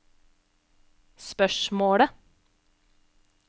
spørsmålet